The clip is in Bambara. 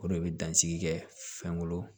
O de bɛ dansigi kɛ fɛnkolo